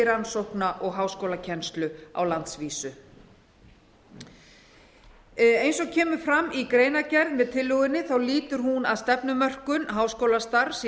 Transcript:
rannsókna og háskólakennslu á landsvísu eins og kemur fram í greinargerð með tillögunni lýtur hún að stefnumörkun háskólastarfs í